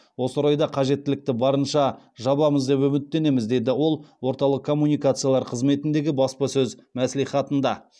осы орайда қажеттілікті барынша жабамыз деп үміттенеміз деді ол орталық коммуникациялар қызметіндегі баспасөз мәслихатында